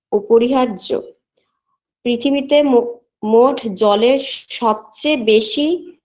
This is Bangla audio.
ওপরিহার্য পৃথিবীতে মো মোট জলের স সবচেয়ে বেশি